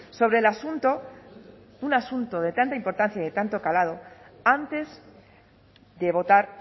sobre el asunto un asunto de tanta importancia y de tanto calado antes de votar